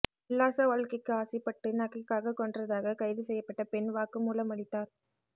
உல்லாச வாழ்க்கைக்கு ஆசைப்பட்டு நகைக்காக கொன்றதாக கைது செய்யப்பட்ட பெண் வாக்குமூலம் அளித்தார்